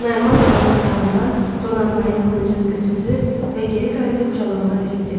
Naiman ananın otağından Donanbayın qılıncını götürdü və geri qayıdıb Jolamana verib dedi: